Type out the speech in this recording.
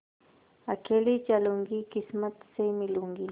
अकेली चलूँगी किस्मत से मिलूँगी